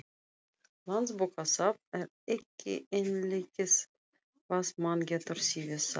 Landsbókasafn er ekki einleikið hvað mann getur syfjað þar.